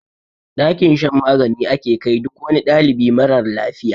Dakin shan magani ake kai duk wani ɗalibi marar lafiya.